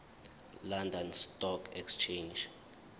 london stock exchange